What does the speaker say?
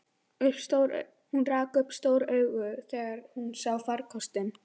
Hún rak upp stór augu þegar hún sá farkostinn.